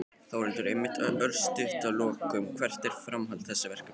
Þórhildur: Einmitt, örstutt að lokum, hvert er framhald þessa verkefnis?